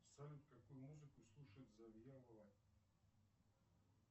салют какую музыку слушает завьялова